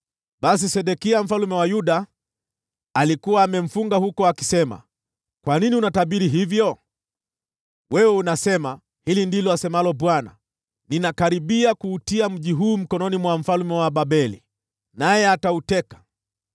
Basi Sedekia mfalme wa Yuda alikuwa amemfunga huko akisema, “Kwa nini unatabiri hivyo? Wewe unasema, ‘Hili ndilo asemalo Bwana : Ninakaribia kuutia mji huu mkononi mwa mfalme wa Babeli, naye atauteka.